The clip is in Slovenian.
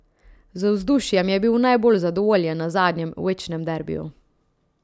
Z vzdušjem je bil najbolj zadovoljen na zadnjem večnem derbiju.